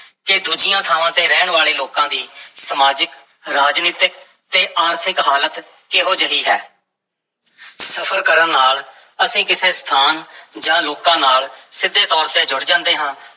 ਕਿ ਦੂਜੀਆਂ ਥਾਵਾਂ ਤੇ ਰਹਿਣ ਵਾਲੇ ਲੋਕਾਂ ਦੀ ਸਮਾਜਿਕ, ਰਾਜਨੀਤਕ ਤੇ ਆਰਥਿਕ ਹਾਲਤ ਕਿਹੋ ਜਿਹੀ ਹੈ ਸਫ਼ਰ ਕਰਨ ਨਾਲ ਅਸੀਂ ਕਿਸੇ ਸਥਾਨ ਜਾਂ ਲੋਕਾਂ ਨਾਲ ਸਿੱਧੇ ਤੌਰ ਤੇ ਜੁੜ ਜਾਂਦੇ ਹਾਂ